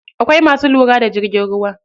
Akwai masu lura da jirgin ruwa.